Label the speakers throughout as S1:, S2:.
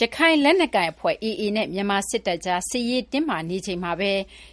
S1: ရခိုင်လက်နက်ကိုင်အဖွဲ့ AA နဲ့ မြန်မာစစ်တပ်အကြား စစ်ရေးတင်းမာနေချိန်မှာပဲ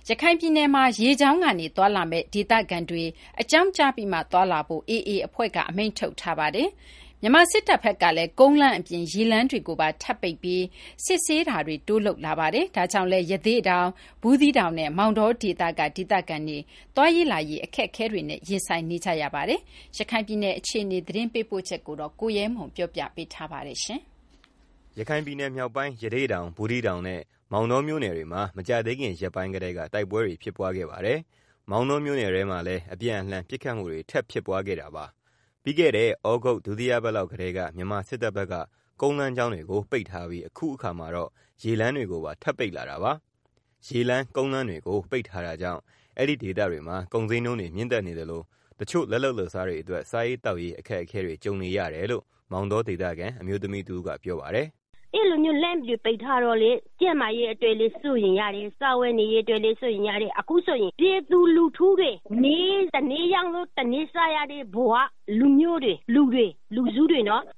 S1: ရခိုင်ပြည်နယ်မှာ ရေကြောင်းကနေ သွားလာမယ့် ဒေသခံတွေ အကြောင်းကြားပြီးမှာ သွားလာဖို့ AA အဖွဲ့ က အမိန့်ထုတ်ထားပါတယ်။ မြန်မာစစ်တပ်ဘက်ကလည်း ကုန်းလမ်း အပြင် ရေလမ်းတွေကိုပါ ထပ်ပိတ်ပြီး စစ်ဆေးတာတွေ တိုးလုပ်လာပါတယ်။ ဒါကြောင့်လည်း ရသေ့တောင်၊ ဘူးသီးတောင်နဲ့ မောင်တောဒေသက ဒေသခံတွေ သွားလာရေးအခက်အခဲတွေ ရင်ဆိုင်နေရပါတယ်။ ရခိုင်ပြည်နယ်အခြေအနေ သတင်းပေးပို့ချက်ကို ကိုရဲမွန်က တင်ပြထားပါတယ်။
S2: ရခိုင်ပြည်နယ် မြောက်ပိုင်း ရသေ့တောင် ဘူူးသီးတောင်နဲ့ မောင်တောမြို့နယ်တွေမှာ မကြာသေးခင်ရက်ပိုင်းကတည်းက တိုက်ပွဲတွေဖြစ်ပွားခဲ့ပါတယ်။ မောင်းတောမြို့နယ်ထဲမှာတော့ ဒီနေ့ပဲ အပြန်အလှန် ပစ်ခတ်မှုတွေ ထပ်ဖြစ်ပွားခဲ့တာပါ။ ပြီးခဲ့တဲ့ သြဂုတ် ဒုတိယပတ်လောက်ကတည်းက မြန်မာစစ်တပ်ဘက်က ကုန်းလမ်းကြောင်းတွေကို ပိတ်ထားပြီး ဒီနေ့ ရေလမ်းတွေကို ထပ်ပိတ်လာတာပါ။ ရေလမ်းကုန်းလမ်းတွေကို ပိတ်ထားတာကြောင့်အဲဒီဒေသတွေမှာ ကုန်းဈေးနှုန်းတွေ မြင့်တက်နေသလို တချို့ လက်လုပ်လက်စားတွေအတွက် စာရေးသောက်ရေး အခက်အခဲတွေ ကြုံနေရတယ်လို့ မောင်တောဒေသခံ အမျိုးသမီးတဦးက ပြောပါတယ်။
S3: “ အဲလိုမျိုးလမ်းတွေ ပိတ်ထားတော့ ကျန်းမာရေးအတွက်လည်း စိုးရိမ်ရတယ်၊ စားဝတ် နေရေးအတွက်လည်း စိုးရိမ်ရတယ်၊ အခုဆိုရင် ပြည်သူတွေ တနေ့ လုပ်မှတနေ့စား ရတဲ့သူ တွေ လူမျိုးတွေ အဲလိုလူတွေ အခုငတ်နေကြ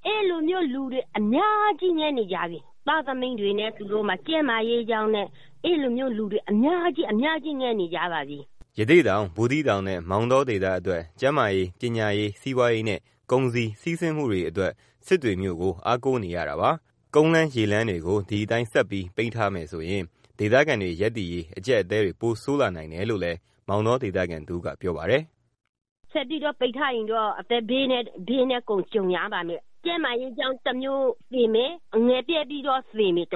S3: တာ အများကြီးရှိတယ်၊ သားသမီးတွေနဲ့ နေမ ကောင်းတာတွေနဲ့ အများကြီး ငတ်နေကြတာ။
S2: ” ရသေ့တောင်၊ဘူးသီးတောင်နဲ့ မောင်တော ဒေသအတွက် ကျန်းမာရေး ပညာရေး စီးပွားရေးနဲ့ ကုန်စည်စီးဆင်းမှုတွေ အစစ စစ်တွေကို အားကိုးနေရတာပါ။ ကုန်းလမ်းရေလမ်းတွေကို ဒီအတိုင်း ဆက်ပြီး ပိတ်ထားမယ်ဆိုရင် ဒေသခံတွေ ရပ်တည်ရေး အကြပ်အတည်းတွေ ပိုဆိုးလာနိုင်တယ်လို့လည်း မောင်တောဒေ သခံတဦးကပြောပါတယ်။
S3: “ ဆက်ပြီးတော့ ပိတ်ထားရင်တော့ အသက်ဘေးနဲ့ ကြုံရလိမ့်မယ်၊ ကျန်းမာရေးကြောင့် တမျိုးသေမယ်၊ ငတ်ပြတ်ပြီးတော့ သေမယ်၊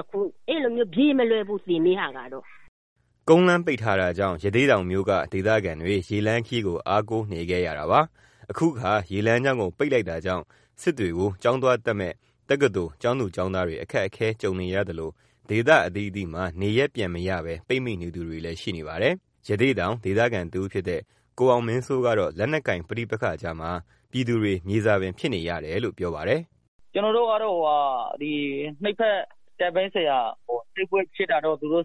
S3: ပြေးမလွတ်ဘူးသေမယ့်ဟာကတော့။
S2: ” ကုန်းလမ်းပိတ်ထားတာကြောင့် ရသေ့တောင် မြိုက ဒေသခံတွေ ရေလမ်းခရီးကို အားကိုးနေခဲ့၇တာပါ။ အခု ရေလမ်းကြောင်းကို ပိတ်လိုက်တာကြောင့် စစ်တွေကို ကျောင်းသွားတက်မယ့် တက္ကသိုလ် ကျောင်းသူကျောင်းသားတွေအခက်ကြုံနေရသလို ဒေသ အသီးသီးမှာ နေရပ်ပြန်မရပဲ ပိတ်မိနေသူတွေရှိနေပါတယ်။ ရသေ့တောင်ဒေသခံတဦးဖြစ်တဲ့ ကိုအောင်မင်းစိုးကတော့ လက်နက်ကိုင်ပဋိပက္ခကြားမှာ ပြည်သူတွေ မြေဇာပင် ဖြစ်နေတယ်လို့ ပြောပါတယ်။ “ နှစ်ဖက်အဖွဲ့တွေ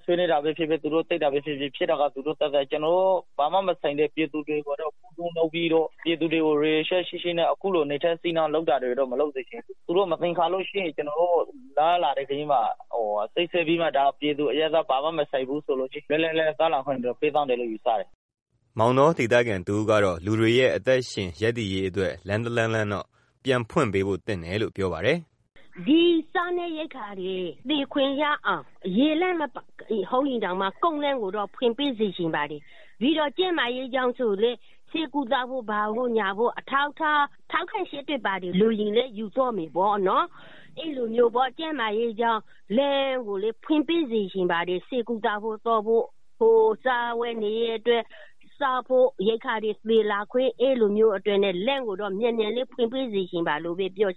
S2: ဆွေးနွေးတာပဲ ဖြစ်ဖြစ် တိုက်ပွဲဖြစ်တာပဲ ဖြစ်ဖြစ် အဲတာသူတို့ကိစ္စ၊ ကျနော်တို့ ဘာမှမဆိုင်တဲ့ ပြည်သူတွေကို ခုတုံးလုပ်ပြီးတော့ လူတွေကို ရည်ရွယ်ချက်ရှိရှိနဲ့ နိုင်ထက်စီးနှင်းတော့ မလုပ်စေချင်ဘူး။ သူတို့မသင်္ကာရင် လမ်းခရီးမှာ စစ်ဆေးပြီးတော့ ဒါက ပြည်သူ အရပ်သား ဘာမှမဆိုင်ဘူးဆိုရင် လွတ်လွတ်လပ်လပ်သွားလာခွင့်ပေးစေချင်တယ်” မောင်တောဒေသခံတဦးကတော့ လူတွေရဲ့ အသက်ရှင်ရပ်တည်ရေးအတွက် လမ်းတလမ်းလမ်းတော့ ပြန်ဖွှု့်ပေးသင့်တယ်လို့ ပြောပါတယ်။
S3: “ စားနပ်ရိက္ခာတွေ သည်ခွင့်ရအောင် ရေလမ်းမဟုတ်ရင်တောင်မှ ကုန်းလမ်းကိုတော့ ဖွင့်ပေးစေချင်ပါတယ်၊ပြီးတော့ ကျန်းမာရေးကြောင့် ဆိုရင်လည် ဆေးကုသဖို့ ဘာဖို့ညာဖို့ အထောက်အထားတွေ ထောက်ခံချက်တွေဘာတွေ လိုရင်လည်း ယူသွားမယ်ပေါ့၊ ကျန်းမာ ရေးအတွက် လမ်းကိုလည်း ဖွင့်ပေးစေချင်ပါတယ်၊ စားဝတ်နေရေးအတွက် ရိက္ခာတွေ သည်ဖို့ လမ်းကိုတော့ အမြန်ဖွင့်ပေးစေချင်ပါတယ်။” ဒီလိ
S2: ု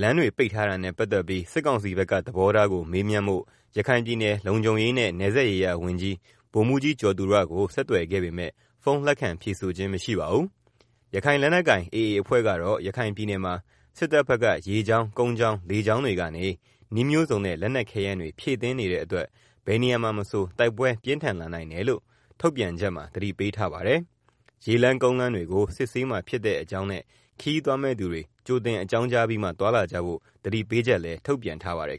S2: လမ်းတွေပိတ်ထားတာနဲ့ ပတ်သက်ပြီး စစ်ကောင်စီဘက်က သဘောထားကို မေးမြန်းဖို့ ရခိုင်ပြည်နယ် လုံခြုံရေးနဲ့ နယ်စပ်ရေးရာဝန်ကြီး ဗိုလ်မှူးကြီး ကျော်သူရကို ဆက်သွယ်ခဲ့ပေမယ့် ဖုန်းလက်ခံ ဖြေဆိုခြင်းမရှိပါဘူး။ ရခိုင်လက်နက်ကိုင်AA အဖွဲ့ကတော့ ရခိုင်ပြည်နယ်မှာ စစ်တပ်ဘက်က ရေကြောင်း ကုန်းကြောင်း လေကြောင်းတွေကနေ နည်းမျိုးစုံနဲ့ လက်နက်ခဲယမ်းတွေ ဖြည့်တင်းနေတဲ့အတွက်ဘယ်နေရာမှာမဆို တိုက်ပွဲပြင်းထန်လာနိုင်တယ်လို့ မနေ့ထုတ်ပြန်ချက်မှာ သတိပေးထားပါတယ်။ ရေလမ်းကုန်းလမ်းတွေကို စစ်ဆေးမှာဖြစ်တဲ့အကြောင်းနဲ့ ခရီးသွားမယ့်သူတွေ ကြိုတင်အကြောင်းကြားပြီးမှ သွားလာကြဖို့ သတိပေးချက်ထုတ်ပြန်ထားပါတယ်